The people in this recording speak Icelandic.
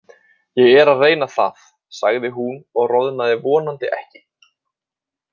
Ég er að reyna það, sagði hún og roðnaði vonandi ekki.